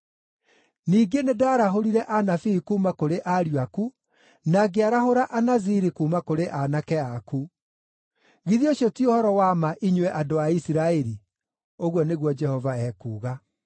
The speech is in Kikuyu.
Ningĩ nĩndarahũrire anabii kuuma kũrĩ ariũ aku, na ngĩarahũra Anaziri kuuma kũrĩ aanake aku. Githĩ ũcio ti ũhoro wa ma, inyuĩ andũ a Isiraeli?” ũguo nĩguo Jehova ekuuga.